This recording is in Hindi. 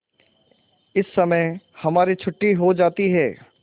इस समय हमारी छुट्टी हो जाती है